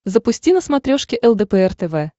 запусти на смотрешке лдпр тв